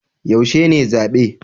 Yaushe ne zabe?